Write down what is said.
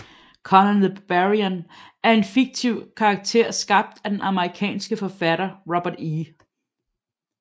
Conan the Barbarian er en fiktiv karakter skabt af den amerikanske forfatter Robert E